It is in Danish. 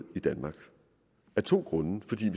i danmark af to grunde den